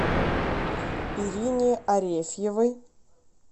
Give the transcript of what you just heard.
ирине арефьевой